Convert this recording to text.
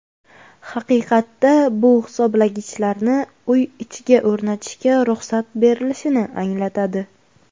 Haqiqatda bu hisoblagichlarni uy ichiga o‘rnatishga ruxsat berilishini anglatadi.